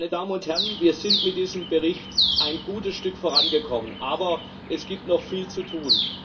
Meine Damen und Herren, wir sind mit diesen Bericht ein gutes Stück vorangekommen, aber es gibt noch viel zu tun.